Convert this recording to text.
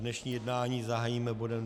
Dnešní jednání zahájíme bodem